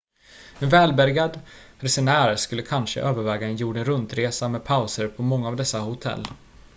en välbärgad resenär skulle kanske överväga en jorden runt-resa med pauser på många av dessa hotell